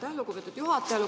Aitäh, lugupeetud juhataja!